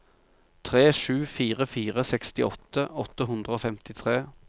tre sju fire fire sekstiåtte åtte hundre og femtitre